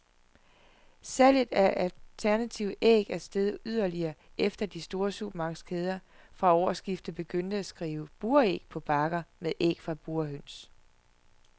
Salget af alternative æg er steget yderligere, efter at de store supermarkedskæder fra årsskiftet begyndte at skrive buræg på bakker med æg fra burhøns.